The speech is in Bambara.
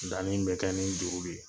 Dani bɛ kɛ ni juru de ye